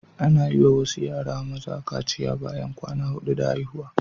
Ana yi wa wasu yara maza kaciya bayan kwana hudu da haihuwa